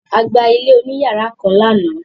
A gba ilé oníyàrá kan lánàá.